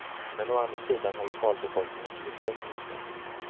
Men å andra sidan har lokalbefolkningens besök minskat.